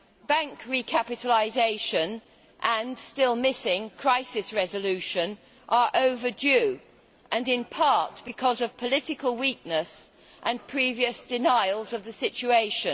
Bank recapitalisation and still missing crisis resolution are overdue, in part because of political weakness and previous denials of the situation.